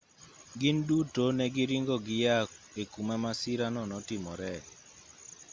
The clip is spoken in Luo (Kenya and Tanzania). gin duto ne giringo giyaa e kuma masirano notimoree